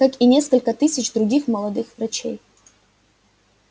как и несколько тысяч других молодых врачей